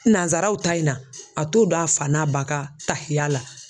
Nansaraw ta in na a t'o dɔn a fa n'a ba ka tahiya la.